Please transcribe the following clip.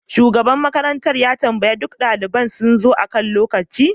Shugaban makarantar ya tambaya ko duk daliban sun zo akan lokaci